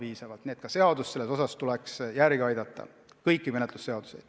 Nii et seadust tuleks ka selles osas järele aidata, kõiki menetlusseadusi.